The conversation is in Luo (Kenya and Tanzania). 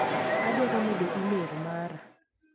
Adwaro medo imel mara.